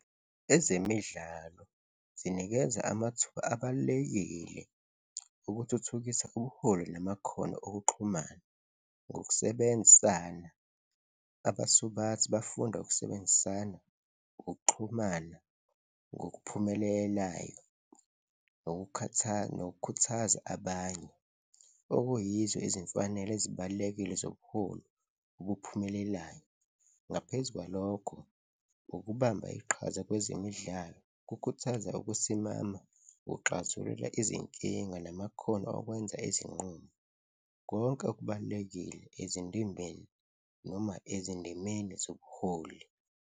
Ezemidlalo zinikeza amathuba abalulekile okuthuthukisa ubuholi namakhono okuxhumana ngokusebenzisana. Abasubathi bafunda ukusebenzisana, ukuxhumana ngokuphumelelayo nokukhuthaza abanye, okuyizo izimfanelo ezibalulekile zobuholi obuphumelelayo. Ngaphezu kwalokho, ukubamba iqhaza kwezemidlalo kukhuthaza ukusimama, ukuxazulula izinkinga namakhono okwenza izinqumo, konke kubalulekile ezindimbeni noma ezindimeni zobuholi.